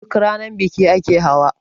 duk Rana biki ake hawa?